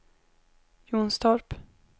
Jonstorp